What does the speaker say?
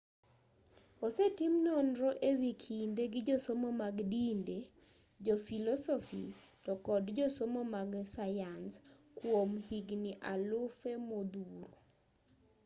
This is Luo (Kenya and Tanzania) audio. osetim nonro e wi kinde gi josomo mag dinde jofilosofi to kod josomo mag sayans kwom higni alufe modhuro